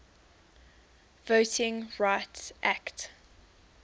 voting rights act